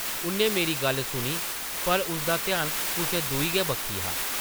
उʼन्नै मेरी गल्ल सुनी पर उसदा ध्यान कुसै दूई गै बक्खी हा ।